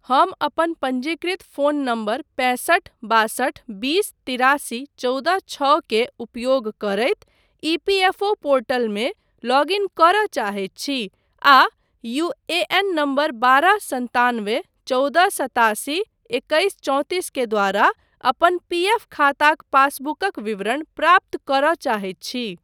हम अपन पञ्जीकृत फ़ोन नम्बर पैंसठ बासठ बीस तिरासी चौदह छओ के उपयोग करैत ईपीएफओ पोर्टलमे लॉग इन करय चाहैत छी आ यूएएन नम्बर बारह सन्तानवे चौदह सतासी एकैस चौंतिस के द्वारा अपन पीएफ खाताक पासबुकक विवरण प्राप्त करब चाहैत छी।